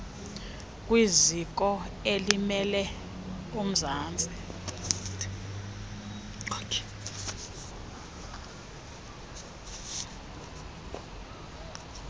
kwiziko elimele umzantsi